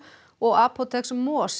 og apóteks